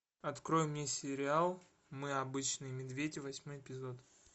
открой мне сериал мы обычные медведи восьмой эпизод